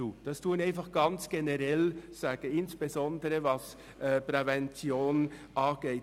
Dies meine ich ganz generell, insbesondere, was die Prävention angeht.